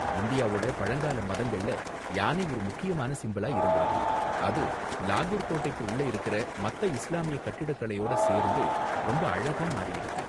இந்தியாவோட பழங்கால மதங்கள்ல யானை ஒரு முக்கியமான சிம்பளா இருந்திருக்கு, அது லாகூர் கோட்டைக்கு உள்ள இருக்குற மத்த இஸ்லாமிய கட்டிடக்கலையோட சேர்ந்து ரொம்ப அழகா மாறியிருக்கு.